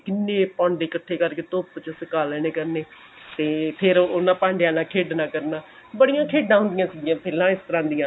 ਕਿੰਨੇ ਭਾਂਡੇ ਇੱਕਠੇ ਕਰਕੇ ਧੁੱਪ ਚ ਸੁਕਾ ਲੇਣੇ ਕਰਨੇ ਤੇ ਫੇਰ ਉਹਨਾਂ ਭਾਂਡਿਆਂ ਨਾਲ ਖੇਡਣਾ ਕਰਨਾ ਬੜੀਆਂ ਖੇਡਾ ਹੁੰਦੀਆਂ ਸੀਗੀਆ ਪਹਿਲਾ ਇਸ ਤਰ੍ਹਾਂ ਦੀਆਂ